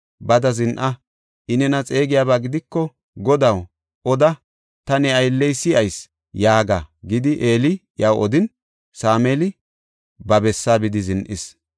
“Bada zin7a; I nena xeegiyaba gidiko, ‘Godaw, oda; ta ne aylley si7ayis’ yaaga” gidi, Eeli iyaw odin, Sameeli ba bessaa bidi zin7is.